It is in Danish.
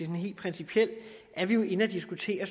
helt principielt er vi jo inde at diskutere